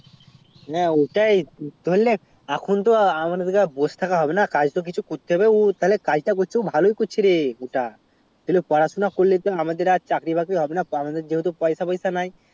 হ্যাঁ ওটাই ধরলে এখন তো আর বোস থাকা হবে না কাজ কিছু তো করতে হবে কাজ তা করছে ও ভালোই করছে রে ওটা তো পড়াশুনা করলে আমাদের তো আর চাকরি বাকরি হবে না আমাদের যেহেতু পয়সা তয়সা নাই